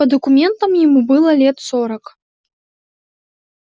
по документам ему было лет сорок